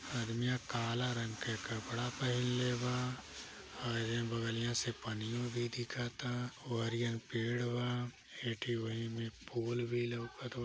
अदमीया काला रंग के कपड़ा पहन ले बा और ऐ बगलिया से पानीयों भी दिखता ओहरिया पेड़ बा एठो ओही में फूल भी लउक़त बा।